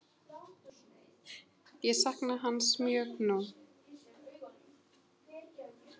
Ég sakna hans mjög nú.